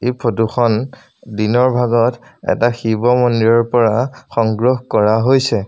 এই ফটো খন দিনৰ ভাগত এটা শিৱ মন্দিৰৰ পৰা সংগ্ৰহ কৰা হৈছে।